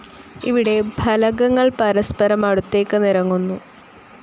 ഇവിടെ ഫലകങ്ങൾ പരസ്പരം അടുത്തേക്ക് നിരങ്ങുന്നു.